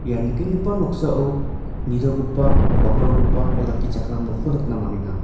ia nikenggipa noksao nitogipa bakrogipa olakkichakram nokko nikna man·enga.